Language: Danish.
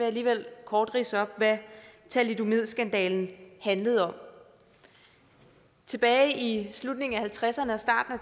alligevel kort ridse op hvad thalidomidskandalen handlede om tilbage i slutningen af nitten halvtredserne og starten af